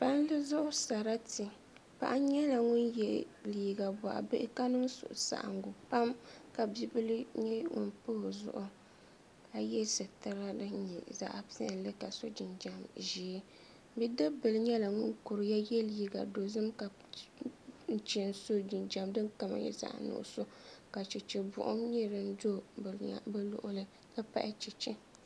Palli zuɣu sarati paɣa nyɛla ŋun yɛ liiga boɣa bihi ka niŋ suhusaɣangu pam ka bibil nyɛ ŋun pa o zuɣu ka yɛ sitirli din nyɛ zaɣ piɛlli ka so jinjɛm ʒiɛ bidibbili nyɛla ŋun kuriya yɛ liiga dozim ka so jinjɛm zaɣ nuɣso ka chɛchɛ buɣum nyɛ din do bi luɣuli n ti pahi chɛchɛ